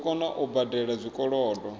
dzo kona u badela zwikolodo